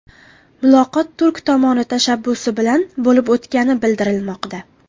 Muloqot turk tomoni tashabbusi bilan bo‘lib o‘tgani bildirilmoqda.